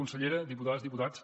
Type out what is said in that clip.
consellera diputades diputats